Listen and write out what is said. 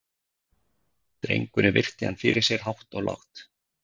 Drengurinn virti hann fyrir sér hátt og lágt.